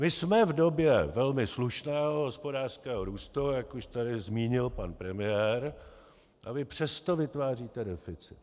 My jsme v době velmi slušného hospodářského růstu, jak už tady zmínil pan premiér, a vy přesto vytváříte deficit.